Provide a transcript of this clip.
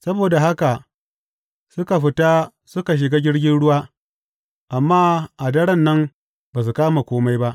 Saboda haka suka fita suka shiga jirgin ruwa, amma a daren nan ba su kama kome ba.